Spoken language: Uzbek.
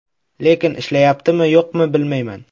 Lekin ishlayaptimi, yo‘qmi, bilmayman.